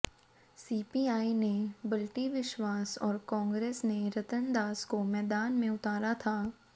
CPI ने बल्टी विश्वास और कांग्रेस ने रतन दास को मैदान में उतारा था